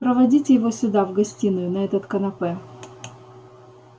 проводите его сюда в гостиную на этот канапе